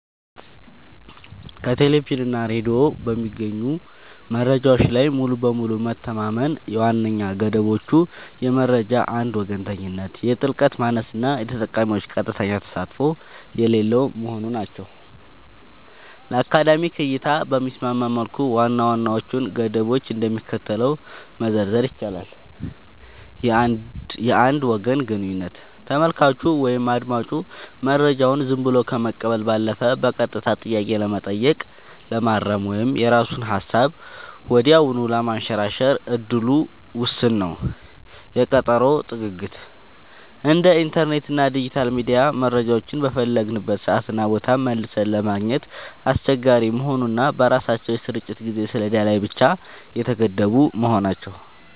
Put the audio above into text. ከቴሌቪዥን እና ሬዲዮ በሚገኙ መረጃዎች ላይ ሙሉ በሙሉ መተማመን ዋነኛ ገደቦቹ የመረጃ አንድ ወገንተኝነት፣ የጥልቀት ማነስ እና የተጠቃሚዎች ቀጥተኛ ተሳትፎ የሌለው መሆኑ ናቸው። ለአካዳሚክ እይታ በሚስማማ መልኩ ዋና ዋናዎቹን ገደቦች እንደሚከተለው መዘርዘር ይቻላል፦ የአንድ ወገን ግንኙነት : ተመልካቹ ወይም አዳማጩ መረጃውን ዝም ብሎ ከመቀበል ባለፈ በቀጥታ ጥያቄ ለመጠየቅ፣ ለማረም ወይም የራሱን ሃሳብ ወዲያውኑ ለማንሸራሸር እድሉ ውስን ነው። የቀጠሮ ጥግግት : እንደ ኢንተርኔት እና ዲጂታል ሚዲያ መረጃዎችን በፈለግንበት ሰዓትና ቦታ መልሰን ለማግኘት አስቸጋሪ መሆኑ እና በራሳቸው የስርጭት የጊዜ ሰሌዳ ላይ ብቻ የተገደቡ መሆናቸው።